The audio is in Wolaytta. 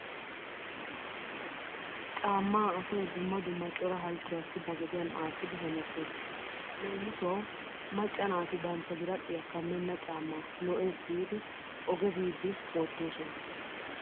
Caammaa asay dumma dumma cora halchchuwaassi ba gediyan aattidi hemettees. Leemisuwawu macca naati bantta biradhdhiya kammenna caammaa lo'ees giidi oge biiddi wottoosona.